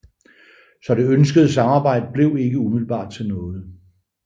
Så det ønskede samarbejde blev ikke umiddelbart til noget